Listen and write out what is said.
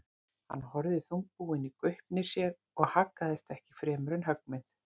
Hann horfði þungbúinn í gaupnir sér og haggaðist ekki fremur en höggmynd.